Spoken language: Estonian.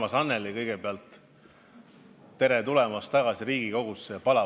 Armas Annely, kõigepealt tere tulemast tagasi Riigikogusse!